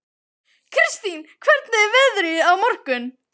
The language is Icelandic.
Kristin, hvernig er veðrið á morgun?